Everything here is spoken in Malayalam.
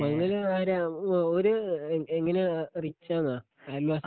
മങ്കല് ആരാ ഓര് എങ്ങനെയാ റിച്ചാന്ന അയൽവാസി